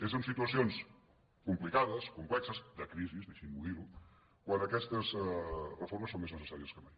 és en situacions com·plicades complexes de crisi deixin·m’ho dir quan aquestes reformes són més necessàries que mai